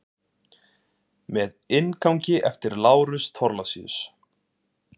Með inngangi eftir Lárus Thorlacius.